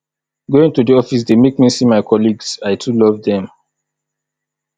going to office dey make me see my colleagues i too love dem